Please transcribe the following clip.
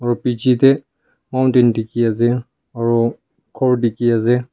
bechidae mountain dekhe ase aro ghor dekhe ase.